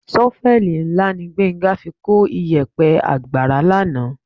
Ṣọ́fẹ́ẹ̀lì ńlá ni Gbénga fi kó ìyẹ̀pẹ̀ àgbàrá lánàá